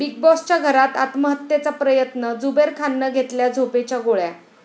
big बाॅस'च्या घरात आत्महत्येचा प्रयत्न, झुबेर खाननं घेतल्या झोपेच्या गोळ्या